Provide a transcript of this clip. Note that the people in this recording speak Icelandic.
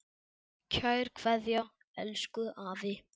Kær kveðja, elsku afi.